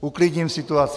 Uklidním situaci.